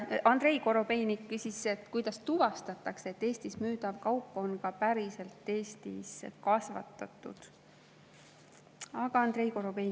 Andrei Korobeinik küsis, kuidas tuvastatakse, et Eestis müüdav kaup on ka päriselt Eestist.